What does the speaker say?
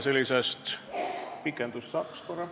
Kas pikendust saaks?